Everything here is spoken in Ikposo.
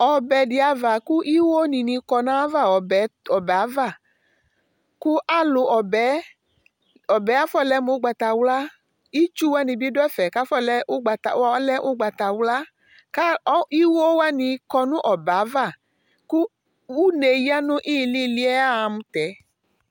Ɔbɛ diava kiwoni kɔ nayava Ɔbɛ afɔlɛ mugbatawla Itsu wanibi du ɛfɛ ɔlɛ ugbatawla Kiwowani kɔ nu ɔbɛ ava ku une ya nilili aya mu tɛdiɛ